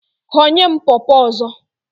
Ghọnye m pọpọ ọzọ!